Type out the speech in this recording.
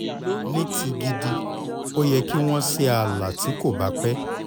ní ti gidi ó yẹ kí wọ́n ṣe ààlà tí kò bá pẹ́